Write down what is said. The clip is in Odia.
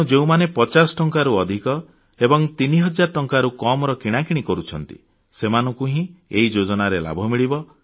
ତେଣୁ ଯେଉଁମାନେ 50 ଟଙ୍କାରୁ ଅଧିକ ଏବଂ 3000 ଟଙ୍କାରୁ କମ୍ କିଣାକିଣି କରୁଛନ୍ତି ସେମାନଙ୍କୁ ହିଁ ଏହି ଯୋଜନାର ଲାଭ ମିଳିବ